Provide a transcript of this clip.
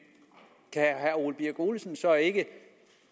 kan herre ole birk olesen så ikke